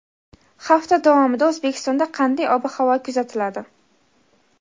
Hafta davomida O‘zbekistonda qanday ob-havo kuzatiladi?.